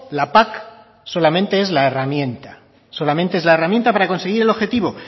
la pac solamente es la herramienta solamente es la herramienta para conseguir el objetivo